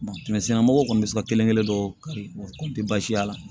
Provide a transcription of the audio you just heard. mɔgɔw kɔni bɛ se ka kelen kelen dɔ kari baasi y'a la